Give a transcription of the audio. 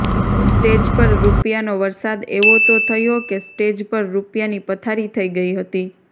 stage પર રૂપિયાનો વરસાદ એવો તો થયો કે સ્ટેજ પર રૂપિયાની પથારી થઈ ગઈ હતી